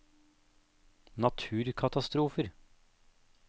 naturkatastrofer